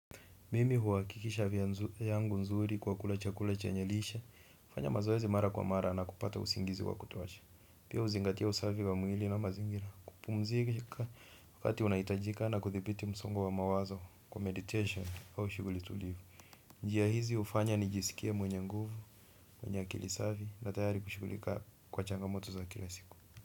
Mimi huhakikisha afya yangu nzuri kwa kula chakula chenye lishe, hufanya mazoezi mara kwa mara na kupata usingizi wa kutosha. Pia huzingatia usafi wa mwili na mazingira kupumzika wakati unahitajika na kudhibiti msongo wa mawazo kwa meditation au shughuli tulivu. Njia hizi hufanya ni jisikie mwenye nguvu, mwenye akili safi na tayari kushughulika kwa changamoto za kila siku.